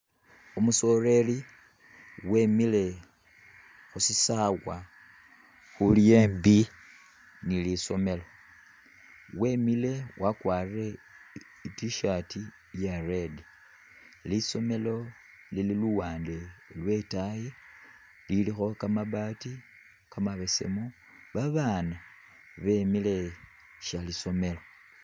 Umusoreri wemile khu sisawa khuli embi ni lisomelo, wemile wakwarire ih i'T-shirt iya red. Lisomelo lili luwaande lwe itaayi lilikho kamabaati kamabesemu, Babaana bemile sha lisomelo.